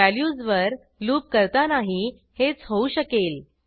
values वर loop करतानाही हेच होऊ शकेल